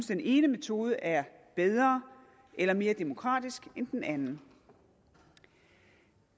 den ene metode er bedre eller mere demokratisk end den anden